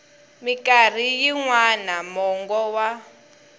mikarhi yin wana mongo wa